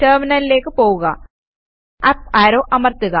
ടെർമിനലിലേയ്ക്ക് പോകുക up arrow അമർത്തുക